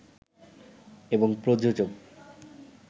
এবং প্রযোজক